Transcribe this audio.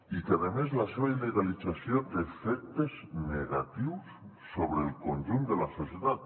i a més la seva il·legalització té efectes negatius sobre el conjunt de la societat